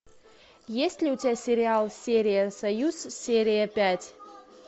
есть ли у тебя сериал серия союз серия пять